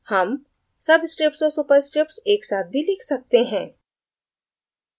हम subscripts और superscripts एक साथ भी लिख सकते हैं